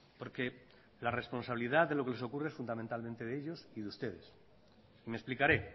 porque la responsabilidad de lo que les ocurre es fundamentalmente de ellos y de ustedes me explicaré